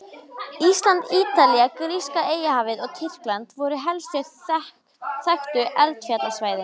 Ísland, Ítalía, gríska Eyjahafið og Tyrkland voru helstu þekktu eldfjallasvæðin.